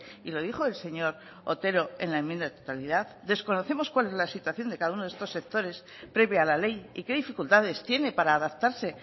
y lo dijo el señor otero en la enmienda de totalidad desconocemos cuál es la situación de cada uno de estos sectores previa a la ley y qué dificultades tiene para adaptarse